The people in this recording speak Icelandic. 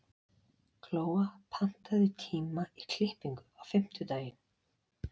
Glóa, pantaðu tíma í klippingu á fimmtudaginn.